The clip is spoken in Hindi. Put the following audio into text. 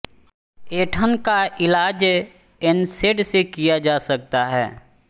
ऐंठन का इलाज एनसेड से किया जा सकता है